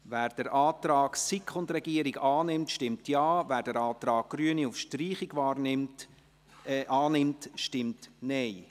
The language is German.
Wer den Antrag von SiK und Regierung annimmt, stimmt Ja, wer den Antrag der Grünen auf Streichung annimmt, stimmt Nein.